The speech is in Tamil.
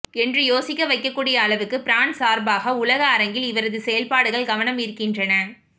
என்று யோசிக்க வைக்கக்கூடிய அளவுக்கு ஃபிரான்ஸ் சார்பாக உலக அரங்கில் இவரது செயல்பாடுகள் கவனம் ஈர்க்கின்றன